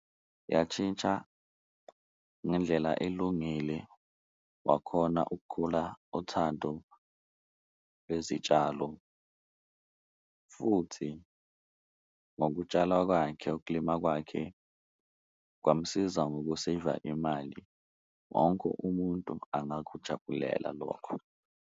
Yatshintsha ngendlela elungile wakhona ukukhula uthando lwezitshalo futhi ngokutshala kwakhe, ukulima kwakhe kwamsiza ngoku-saver-a imali, wonke umuntu angakujabulela lokho.